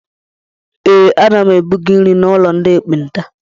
Ee, ana m ebuga nri n'ụlọ ndị ekpenta.